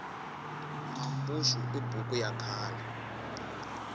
mambuxu i buku ya khale